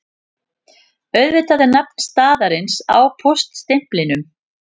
Auðvitað er nafn staðarins á póststimplinum